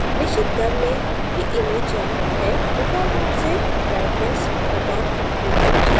निश्चित कर लें कि image चयनित है default रूप से brightness cutoff विकल्प चयनित है